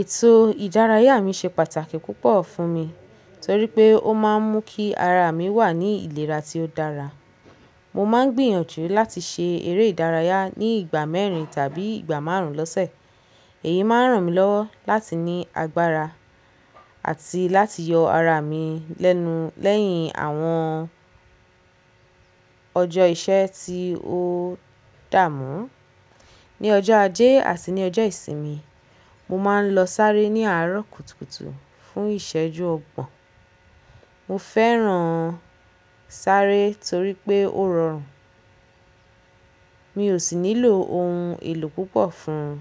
Ètò ìdárayá mi ṣe pàtàkì púpọ̀ fún mi torí pé ó máa ń mú kí ara mi wà ní ìlera tí ó dára. Mo máa ń gbìyànjú láti ṣe eré ìdárayá ní ìgbà mẹ́rin tàbí ìgbà márùn-ún lọ́sẹ̀. Èyí máa ń ràn mí lọ́wọ́ láti ní agbára àti láti yọ ara mi lẹ́nu lẹ́yìn àwọn ọjọ́ iṣẹ́ tí ó dààmú. Ni ọjọ́ ajé àti ní ọjọ́ ìsinmi, mo máa ń lọ sáré ní àárọ̀ kùtùkùtù fún ìṣẹ́jú ọgbọ̀n. Mo fẹ́ràn sáré torí pé ó rọrùn, mi ò sì nílò ohun èlò púpọ̀ fún ùn.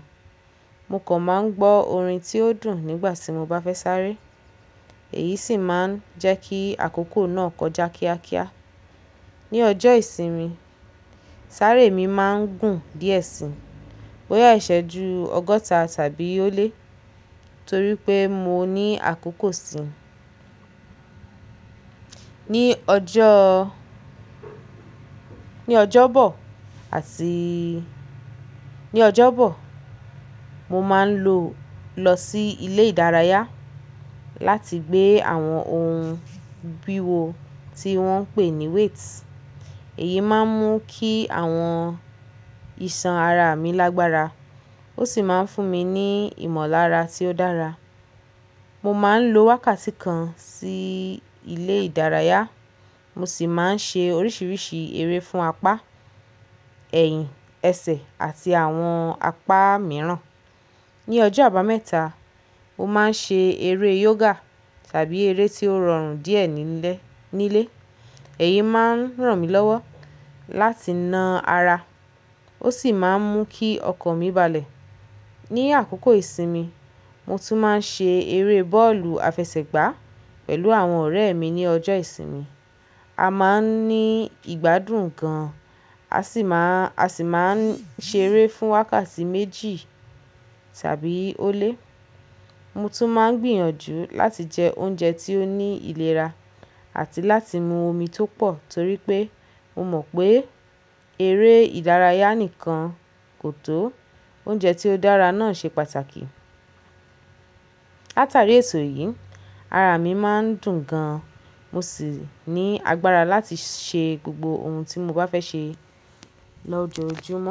Mo kàn máa ń gbọ́ orin tí ó dùn nígbà tí mo bá fẹ́ sáré, èyí sì máa ń jẹ́ kí àkókò náà kọjá kíákíá. Ni ọjọ́ ìsinmi, sáré mi máa ń gùn díẹ̀ sí i, bóyá ìṣẹ́jú ọgọ́ta tàbí ó lé torí pé mo ní àkókò sí i. Ni ọjọ́, ní ọjọ́bọ̀ àti ní ọjọ́bọ̀, mo máa ń lọ lọ sí ilé ìdárayá láti gbé àwọn ohun bíwo tí wọ́n ń pè ní weights. Èyí máa ń mú kí àwọn iṣan ara mi lágbára ó sì máa ń fún mi ní ìmọ̀lára tí ó dára. Mo máa ń lo wákàtí kan sí ilé ìdárayá, mo sì máa ń ṣe oríṣiríṣi eré fún apá, ẹ̀yìn, ẹsẹ̀ àti àwọn apá mìíràn. Ni ọjọ́ àbámẹ́ta, mo máa ń ṣe eré yoga tàbí eré tí ó rọrùn díẹ̀ nílé, nílé. Èyí máa ń ràn mí lọ́wọ́ láti na ara ó sì máa ń mú kí ọkàn mi balẹ̀. Ni àkókò ìsinmi, mo tún máa ń ṣe eré bọ́ọ̀lù àfẹsẹ̀gbá pẹ̀lú àwọn ọ̀rẹ́ mi ní ọjọ́ ìsinmi. A máa ń ní ìgbádùn gan-an a sì máa, a sì máa ń ṣe eré fún wákàtí méjì tàbí ó lé. Mo tún máa ń gbìyànjú láti jẹ oúnjẹ tí ó ní ìlera àti láti mu omi tó pọ̀ torí pé mo mọ̀ pé eré ìdárayá nìkan kò tó, oúnjẹ tí ó dára náà ṣe pàtàkì. Látàrí èto yìí, ara mi má ń dùn gan-an mo sì ní agbára láti ṣe gbogbo ohun tí mo bá fẹ́ ṣe lọjoojúmọ́.